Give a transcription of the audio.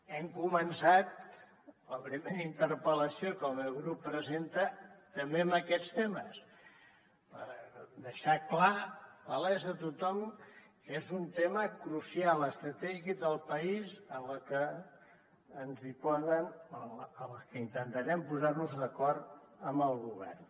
hem començat la primera interpel·lació que el meu grup presenta també amb aquests temes per deixar clar palès a tothom que és un tema crucial estratègic del país en el que intentarem posar nos d’acord amb el govern